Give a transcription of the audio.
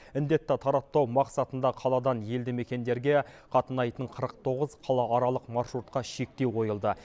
індетті таратпау мақсатында қаладан елді мекендерге қатынайтын қырық тоғыз қалааралық маршрутқа шектеу қойылды